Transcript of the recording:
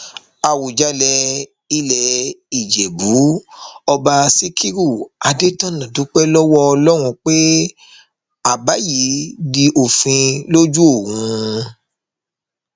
àwùjalè ilẹ ìjẹbù ọba síkírù adẹtọnà dúpẹ lọwọ ọlọrun pé àbá yìí di òfin lójú òun